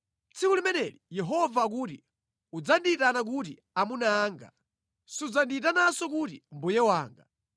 “Tsiku limeneli,” Yehova akuti, “udzandiyitana kuti, ‘Amuna anga;’ sudzandiyitananso kuti, ‘Mbuye wanga.’